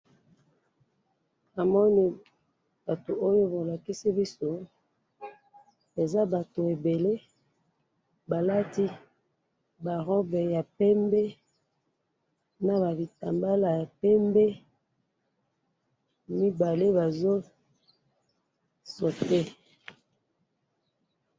namoni batu oyo balakisi biso eza batu ebele balati ba robe ya pembe naba bitambala ya pembe, mibale bazo sauter